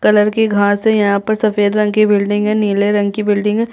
--Colour की घास है यहाँ पर सफ़ेद रंग की बिल्डिंग है नीले रंग की बिल्डिंग है।